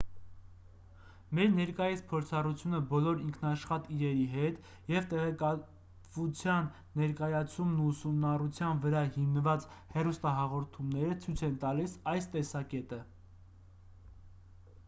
մեր ներկայիս փորձառությունը բոլոր ինքնաշխատ իրերի հետ և տեղեկատվության ներկայացումն ու ուսումնառության վրա հիմնված հեռուստահաղորդումները ցույց են տալիս այս տեսակետը